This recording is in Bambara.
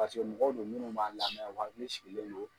mɔgɔw do munnu b'an lamɛ , u hakili sigilen don.